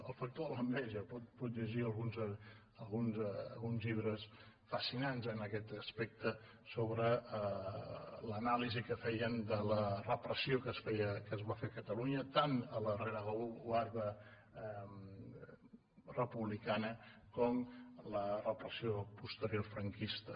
el factor de l’enveja pot llegir alguns llibres fascinants en aquest aspecte sobre l’anàlisi que feien de la repressió que es va fer a catalunya tant a la rereguarda republicana com a la repressió posterior franquista